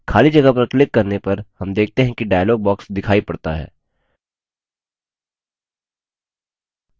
खाली जगह पर क्लिक करने पर हम देखते हैं कि dialog box दिखाई पड़ता है